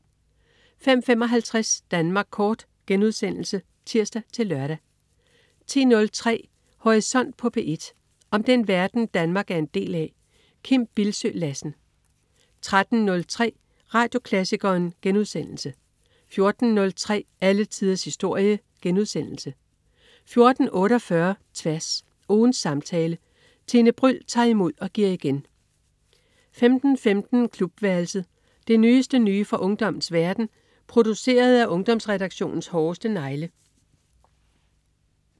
05.55 Danmark Kort* (tirs-lør) 10.03 Horisont på P1. Om den verden, Danmark er en del af. Kim Bildsøe Lassen 13.03 Radioklassikeren* 14.03 Alle tiders historie* 14.48 Tværs. Ugens samtale. Tine Bryld tager imod og giver igen 15.15 Klubværelset. Det nyeste nye fra ungdommens verden, produceret af Ungdomsredaktionens hårdeste negle